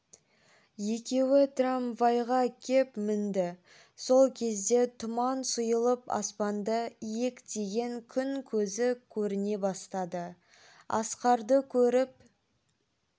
екеуі трамвайға кеп мінді сол кезде тұман сұйылып аспанды иектеген күн көзі көріне бастады асқарды көріп